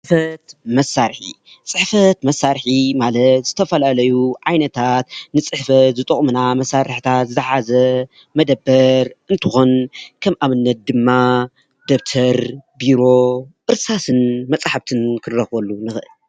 ፅሕፈት መሳርሒ ፅሕፈት መሳርሒ ማለት ካብ ዝተፈላለዩ ዓይነታት ንፅሕፈት ዝጠቕሙና መሳርሕታት ዝሓዘ መደበር እንትኮን ከም ኣብነት ድማ ደብተር ፣ ቢሮ ፣ እርሳስን መፃሓፍትን ክንረክበሉ ንኽእል።